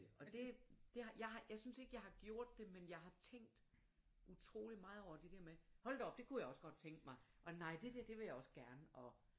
Og det det jeg har jeg synes ikke jeg har gjort det men jeg har tænkt utroligt meget over det der med hold da op det kunne jeg også godt tænke mig og nej det der det vil jeg også gerne og